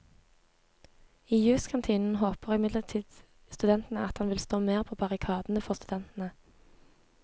I juskantinen håper imidlertid studentene at han vil stå mer på barrikadene for studentene.